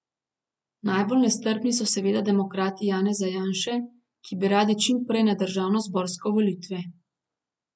Najbolj nestrpni so seveda demokrati Janeza Janše, ki bi radi čim prej na državnozborske volitve.